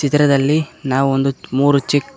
ಚಿತ್ರದಲ್ಲಿ ನಾವು ಒಂದು ಮೂರು ಚಿಕ್--